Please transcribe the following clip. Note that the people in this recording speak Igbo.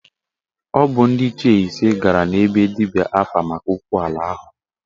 Ọ bụ ndị Ichie ise gara na be dibịa afa maka okwu ala ahụ